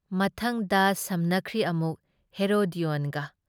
ꯃꯊꯪꯗ ꯁꯝꯅꯈ꯭ꯔꯤ ꯑꯀꯨꯛ ꯍꯦꯔꯣꯗꯦꯑꯣꯟꯒ꯫